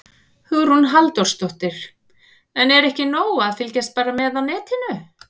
Hugrún Halldórsdóttir: En er ekki nóg að fylgjast bara með á netinu?